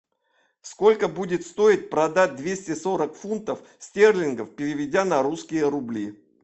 сколько будет стоить продать двести сорок фунтов стерлингов переведя на русские рубли